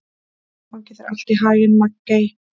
Gangi þér allt í haginn, Maggey.